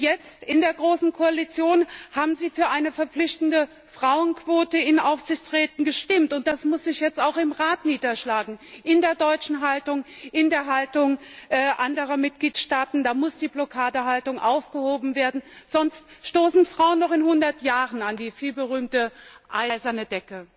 Jetzt, in der großen Koalition, haben sie für eine verpflichtende Frauenquote in Aufsichtsräten gestimmt, und das muss sich jetzt auch im Rat niederschlagen in der deutschen Haltung, in der Haltung anderer Mitgliedstaaten da muss die Blockadehaltung aufgehoben werden, sonst stoßen Frauen noch in 100 Jahren an die vielgerühmte gläserne Decke.